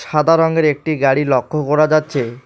সাদা রঙের একটি গাড়ি লক্ষ্য করা যাচ্ছে।